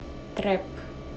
трэп